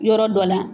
Yɔrɔ dɔ la